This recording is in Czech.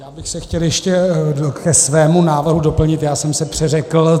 Já bych se chtěl ještě ke svému návrhu doplnit - já jsem se přeřekl.